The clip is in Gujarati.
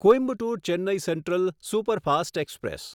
Coimbatore Chennai central superfast express